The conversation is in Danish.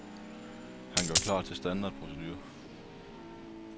Han gør klar til standardprocedure.